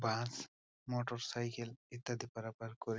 বাস motorcycle ইত্যাদি পারাপার কর--